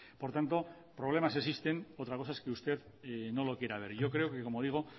por tanto problemas existen otra cosa es que usted no lo quiera ver yo creo que como digo